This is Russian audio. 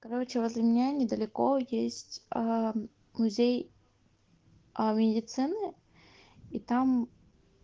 короче возле меня недалеко есть музей аа медицины и там